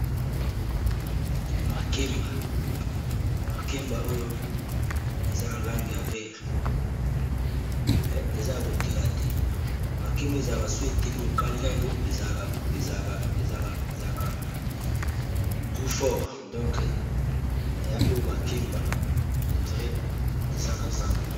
Makemba oyo, eza na langi ya vere. Me eza ya kotela te. Makemba yango ezalaka soki eteli, ba kalingaka yango. Ezalaka gout fort. Makemba oyo, au dirait eza na zando.